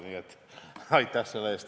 Aitäh selle eest!